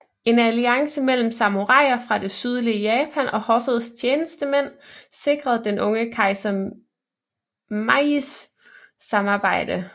En alliance mellem samuraier fra det sydlige Japan og hoffets tjenestemænd sikrede den unge kejser Meijis samarbejde